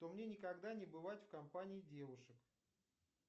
то мне никогда не бывать в компании девушек